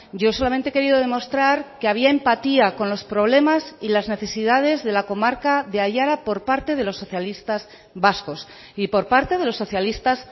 yo solamente he querido demostrar que había empatía con los problemas y las necesidades de la comarca de aiara por parte de los socialistas vascos y por parte de los socialistas